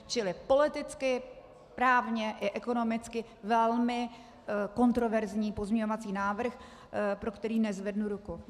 Čili politicky, právně i ekonomicky velmi kontroverzní pozměňovací návrh, pro který nezvednu ruku.